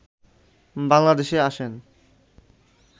বাংলাদেশে আসেন